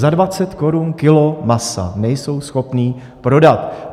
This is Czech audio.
Za 20 korun kilo masa nejsou schopni prodat!